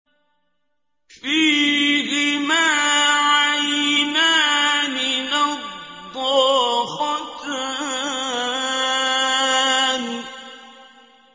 فِيهِمَا عَيْنَانِ نَضَّاخَتَانِ